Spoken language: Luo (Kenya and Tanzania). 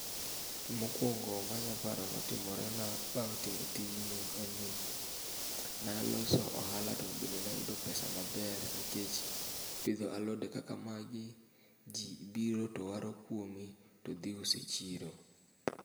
Mokuongo manya paro notimorena bang' timo tijni enni, naloso ohala tobende nayudo pesa maber nikech pidho alode kaka magi jii biro towaro kuomi todhi uso echiro.